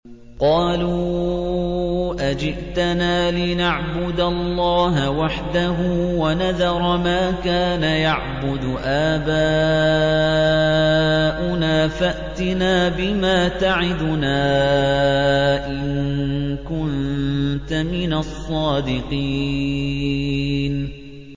قَالُوا أَجِئْتَنَا لِنَعْبُدَ اللَّهَ وَحْدَهُ وَنَذَرَ مَا كَانَ يَعْبُدُ آبَاؤُنَا ۖ فَأْتِنَا بِمَا تَعِدُنَا إِن كُنتَ مِنَ الصَّادِقِينَ